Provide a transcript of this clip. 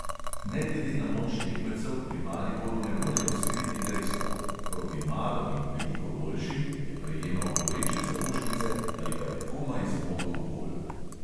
Ne glede na moč tekmecev pri mariboru ne morejo skriti dejstva: proti malo in veliko boljšim je prejemal boleče zaušnice ali pa je komaj zmogel gol.